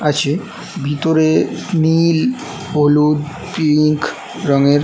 আছে ভিতরে নীল হলুদ পিঙ্ক রঙের--